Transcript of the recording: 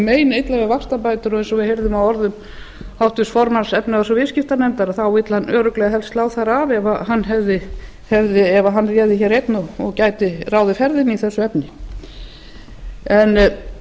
meinilla við vaxtabætur og eins og við heyrðum af orðum háttvirts formanns efnahags og viðskiptanefndar þá vill hann helst örugglega helst slá þær af ef hann réði hér einn og gæti ráðið ferðinni í þessu efni en